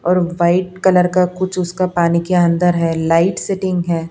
और white colour का कुछ उसका पानी के अंदर है लाइट सेटिंग है।